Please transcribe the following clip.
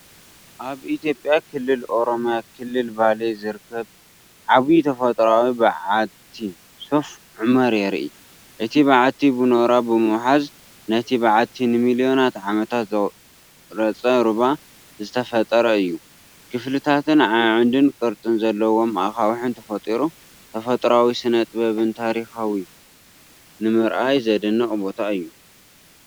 ኣብ ኢትዮጵያ ክልል ኦሮምያ ክልል ባሌ ዝርከብ ዓብዪ ተፈጥሮኣዊ በዓቲ ሶፍ ዑመር የርኢ። እቲ በዓቲ ብኖራ ብምውሓዝ ነቲ በዓቲ ንሚልዮናት ዓመታት ዝቐረጸ ሩባ ዝተፈጥረ እዩ። ክፍልታትን ኣዕኑድንቅርጺ ዘለዎም ኣኻውሕን ተፈጢሩ። ተፈጥሮኣዊ ስነጥበብን ታሪኽን ንምርኣይ ዘደንቕ ቦታ እዩ።